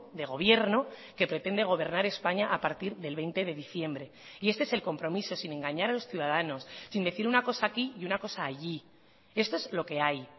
de gobierno que pretende gobernar españa a partir del veinte de diciembre y este es el compromiso sin engañar a los ciudadanos sin decir una cosa aquí y una cosa allí esto es lo que hay